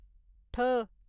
ठ